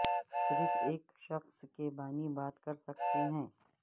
صرف ایک شخص کے بانی بات کر سکتے ہیں